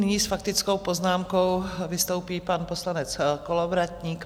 Nyní s faktickou poznámkou vystoupí pan poslanec Kolovratník.